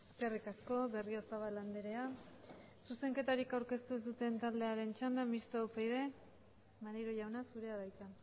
eskerrik asko berriozabal andrea zuzenketarik aurkeztu ez duten taldearen txanda mistoa upyd maneiro jauna zurea da hitza